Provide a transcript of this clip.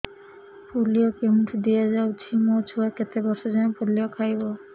polio କେଉଁଠି ଦିଆଯାଉଛି ମୋ ଛୁଆ କେତେ ବର୍ଷ ଯାଏଁ ପୋଲିଓ ଖାଇବ